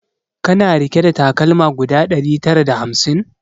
Kana rike da takalma guda ɗari tara da hamsin?